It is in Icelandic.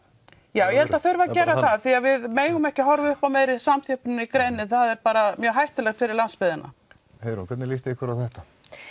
já ég held að það þurfi að gera það því við megum ekki horfa upp á meiri samþjöppun í greininni það er mjög hættulegt fyrir landsbyggðina Heiðrún hvernig líst þér á þetta